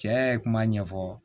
Cɛ ye kuma ɲɛfɔ